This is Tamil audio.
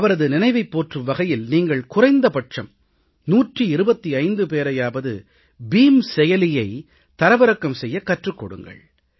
அவரது நினைவைப் போற்றும் வகையில் நீங்கள் குறைந்தபட்சம் 125 பேரையாவது பீம் செயலியை தரவிறக்கம் செய்யக் கற்றுக் கொடுங்கள்